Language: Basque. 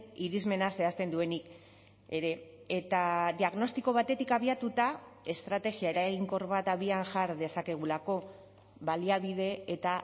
irismena zehazten duenik ere eta diagnostiko batetik abiatuta estrategia eraginkor bat abian jar dezakegulako baliabide eta